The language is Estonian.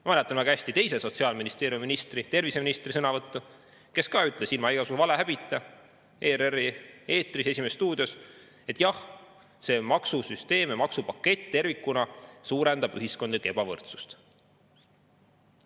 Ma mäletan väga hästi Sotsiaalministeeriumi teise ministri ehk terviseministri sõnavõttu, kui ta ilma igasuguse valehäbita ERR-i "Esimeses stuudios" ütles, et jah, see maksusüsteem ja maksupakett tervikuna suurendab ühiskondlikku ebavõrdsust.